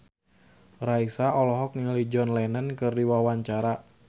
Raisa olohok ningali John Lennon keur diwawancara